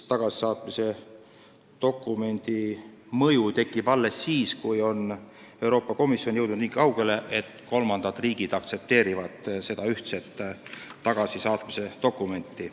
Sellel dokumendil on mõju alles siis, kui Euroopa Komisjon on jõudnud nii kaugele, et kolmandad riigid aktsepteerivad seda ühtset tagasisaatmise dokumenti.